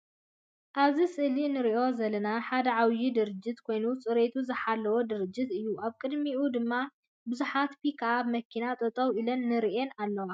ኣብዚ ስእሊ እንሪኦ ዘለና ሓደ ዓብይ ድርጅት ኮይኑ ፅሬቱ ዝሓለወ ድርጅት እዩ። ኣብ ቅድሚቱ ድማ ቡዙሓት ፒክ ኣፕ መኪና ጠጠው ኢለን ንርአን ኣለዋ።